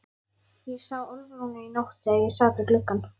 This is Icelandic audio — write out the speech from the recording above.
Ég sá Álfrúnu í nótt þegar ég sat við gluggann.